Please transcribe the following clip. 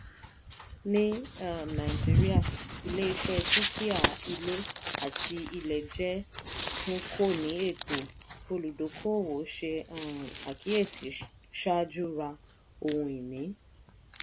ní um nàìjíríà ilé-iṣẹ́ dúkìá ilé àti ilẹ̀ jẹ́ tun kò ní ètò; olùdókòòwò ṣe um àkíyèsí ṣáájú ra ohun-ìní.